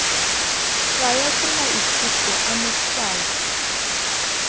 tshwaya ke maikutlo a motshwayi